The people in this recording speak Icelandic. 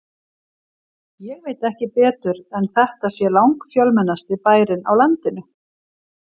Ég veit ekki betur en þetta sé langfjölmennasti bærinn á landinu.